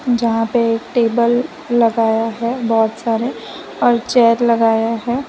जहां पे एक टेबल लगाया है बहोत सारे और चेयर लगाया है।